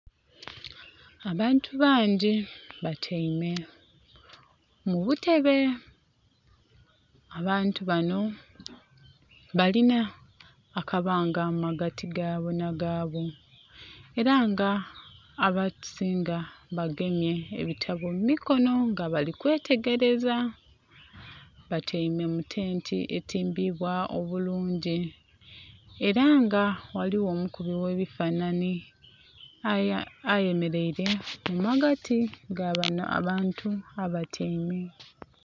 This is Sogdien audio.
Abantu bangi batyaime mu butebe, abantu banho balina akabanga mu magati gaabo nhi gaabo. Elra nga abasinga bagemye ebitabbo mu mukonho nga bali kwetegereza. Batyaime mu tenti etimbibwa omukubi era nga ghaligho omulungi ghe ebifananhi aye mereire mu magati ga banho abantu abatyaime.